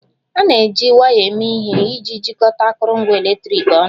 A na-eji waya eme ihe iji jikọta akụrụngwa eletriki ọnụ